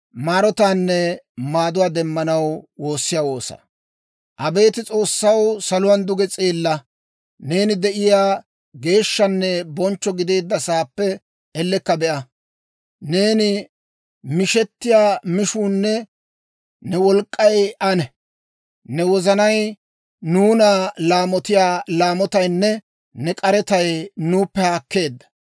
Abeet S'oossaw, saluwaana duge s'eella; neeni de'iyaa geeshshanne bonchcho gideedda saappe ellekka be'a. Neeni mishettiyaa mishuunne ne wolk'k'ay anee? Ne wozanay nuuna laamotiyaa laamotaynne ne k'aretay nuuppe haakkeedda.